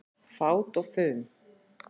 Fát og fum